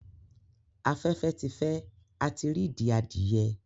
Afẹfẹ ti fẹ, a tí r'idi adìye